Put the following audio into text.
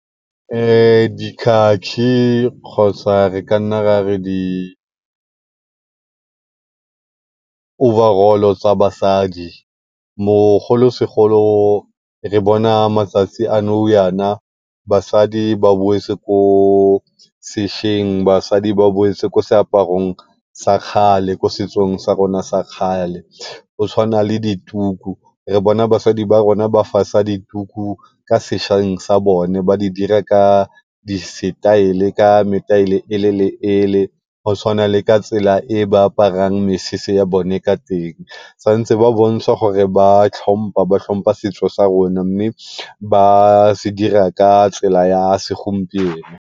Dikhakhi kgotsa re ka nna ra re di overall-o tsa basadi bogolosegolo re bona matsatsi a basadi ba boetse ko sešweng ba boetse ko seaparong sa kgale ko setsong sa rona sa kgale go tshwana le dituku. basadi ba rona ba fasa ka sa bone ba dira ka di-style ka e le le e le go tshwana le ka tsela e ba aparang mesese ya bone ka teng. Santse ba bontsha gore ba tlhompha ba tlhompha setso sa rona, mme ba se dira ka tsela ya segompieno.